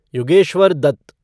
Yogeshwar Dutt